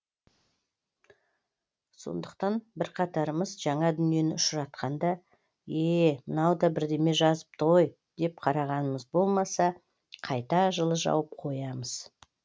сондықтан бірқатарымыз жаңа дүниені ұшыратқанда е е мынау да бірдеме жазыпты ғой деп қарағанымыз болмаса қайта жылы жауып қоямыз